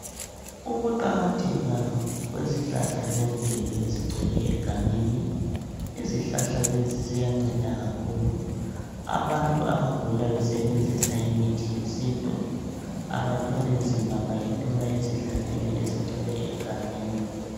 Ukuqakatheka kwezihlahla zemvelo ezigcwele egangeni. Izihlahla lezi ziyanceda kakhulu. Abantu abagula besebenzisa imithi yesintu, abathwali nzima bayithola ezihlahleni ezigcwele egangeni.